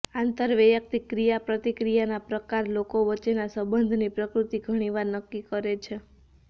આંતરવૈયક્તિક ક્રિયાપ્રતિક્રિયાના પ્રકાર લોકો વચ્ચેના સંબંધની પ્રકૃતિ ઘણીવાર નક્કી કરે છે